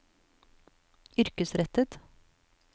yrkesrettet